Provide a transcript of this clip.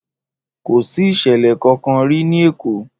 Kò sí ìsẹ̀lẹ̀ kankan rí ní Èkó